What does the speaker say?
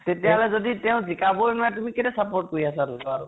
তেতিয়া হলে যদি তেওঁ জিকাবৈ নোৱাৰে, তুমি কেলেই support কৰি আছা লʼৰা টোক